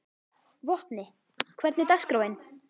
Vopni, hvernig er dagskráin?